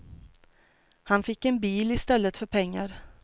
Han fick en bil i stället för pengar.